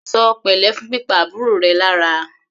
Ṣọ pẹ̀lẹ́ fún pípa àbúrò rẹ lára!